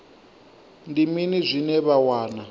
ndi mini zwine vha wana